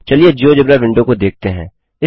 चलिए GeoGebra window को देखते हैं